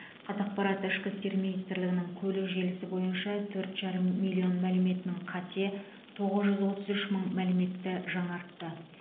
қазақпарат ішкі істер министрлігінің көлік желісі бойынша төрт бүтін оннан бес миллион мәліметінің қате тоғыз жүз отыз үш мың мәліметті жаңартты